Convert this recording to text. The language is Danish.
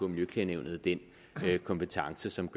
miljøklagenævnet dér har den kompetence som